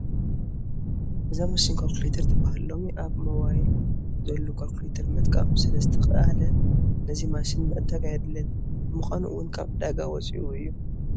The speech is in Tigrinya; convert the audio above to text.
እዛ ማሽን ዃልኩሌተር ትበሃል፡፡ ሎሚ ኣብ ሞባይል ዘሎ ዃልኩሌተር ምጥቃም ስለዝተኻእለ ነዚ ማሽን ምዕዳግ ኣየድልን፡፡ ብምዃኑ እውን ካብ ዕዳጋ ወፂኡ እዩ፡፡